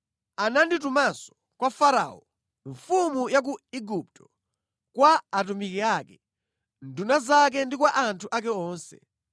Ananditumanso kwa Farao, mfumu ya ku Igupto, kwa atumiki ake, nduna zake ndi kwa anthu ake onse,